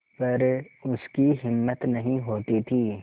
पर उसकी हिम्मत नहीं होती थी